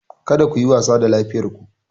Kada ku yi wasa da lafiyar ku